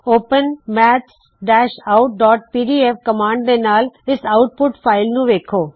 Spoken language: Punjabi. open maths out PDF open maths out PDF command ਦੇ ਨਾਲ ਇਸ ਆਉਟਪੁਟ ਫ਼ਾਇਲ ਨੂੰ ਵੇੱਖੋ